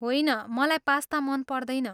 होइन। मलाई पास्ता मन पर्दैन।